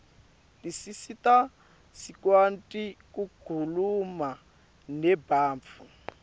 tisisita sikuati kukhuluma nebantfu